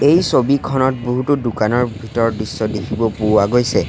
এই ছবিখনত বহুতো দোকানৰ ভিতৰৰ দৃশ্য দেখিব পোৱা গৈছে।